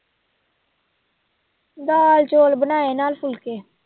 ਦਾਲ ਚੌਲ ਬਣਾਏ ਨਾਲ ਫੁਲਕੇ।